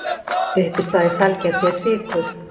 Uppistaða í sælgæti er sykur.